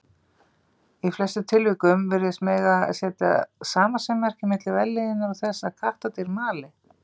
Í flestum tilvikum virðist mega setja samasemmerki milli vellíðunar og þess að kattardýr mali.